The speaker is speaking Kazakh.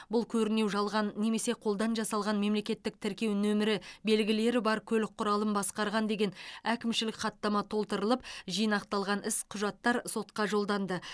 бұл көрінеу жалған немесе қолдан жасалған мемлекеттік тіркеу нөмірі белгілері бар көлік құралын басқарған деген әкімшілік хаттама толтырылып жинақталған іс құжаттар сотқа жолданды